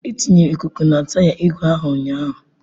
E tinyere ikuku na taya igwe ahụ ụnyahụ